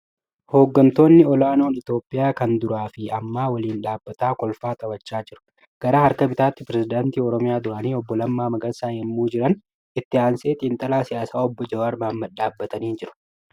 Hoggantoonni ol'aanoon Itiyoophiyaa kan duraa fi ammaa waliin dhaabbatanii kolfaa taphachaa jiru. Garaa harka bitaatiin Pireeziddaantii Oromiyaa duraanii obbo Lammaa Magarsaa yemmuu jiran Itti aansee xiinxalaa siyaasaa obbo Jawaar Mohaammad dhaabatanii jiru.